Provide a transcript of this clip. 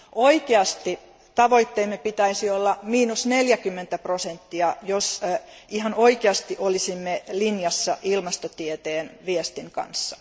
Oikea tavoitteemme pitäisi olla 40 prosenttia jos ihan oikeasti olisimme linjassa ilmastotieteen viestin kanssa.